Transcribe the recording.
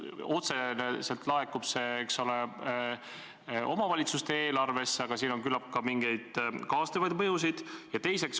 Otseselt laekub see raha omavalitsuste eelarvesse, aga siin on küllap ka mingeid kaasnevaid mõjusid.